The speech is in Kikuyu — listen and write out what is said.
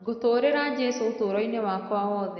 Ngũtũrĩra jesũ ũtũroinĩ wakwa woothe